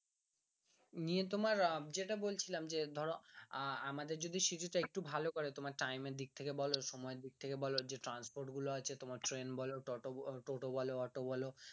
নিয়ে তোমার যেটা বলছিলাম যে ধরো আআমাদের যদি city তা যদি একটু ভালো করে তোমার time এর দিক থেকে বলো সময় এর দিক বলো যে transport গুলো আছে তোমার ট্রেন বলো টোটো বলো অটো বলো